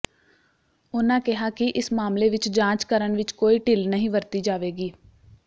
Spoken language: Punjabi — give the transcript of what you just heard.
ਉਨ੍ਹਾਂ ਕਿਹਾ ਕਿ ਇਸ ਮਾਮਲੇ ਵਿੱਚ ਜਾਂਚ ਕਰਨ ਵਿੱਚ ਕੋਈ ਢਿੱਲ ਨਹੀਂ ਵਰਤੀ ਜਾਵੇਗੀ